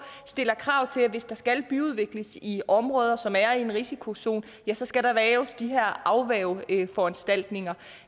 stiller krav til at hvis der skal byudvikles i områder som er i en risikozone ja så skal der laves de her afværgeforanstaltninger